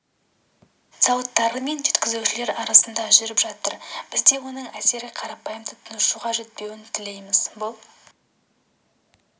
зауыттары мен жеткізушілер арасында жүріп жатыр біз де оның әсері қарапайым тұтынушыға жетпеуін тілейміз бұл